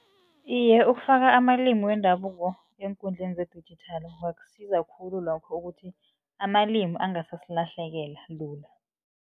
Iye, ukufaka amalimi wendabuko eenkundleni zedijithali kungasiza khulu lokho ukuthi amalimi angasasilahlekela lula.